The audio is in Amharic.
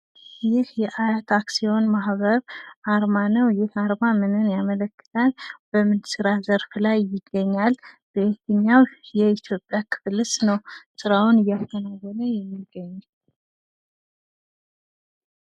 ይህ የሀያት አክሲዮን ማህበር አርማ ነው ።ይህ አርማ ምን ይህንን ያመለክታል? በምን ስራ ዘርፍ ላይ ይገኛል? በየትኛው የኢትዮጵያ ክፍል ውስጥስ ነው ስራውን እያከናወነ የሚገኘው?